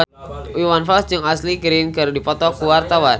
Iwan Fals jeung Ashley Greene keur dipoto ku wartawan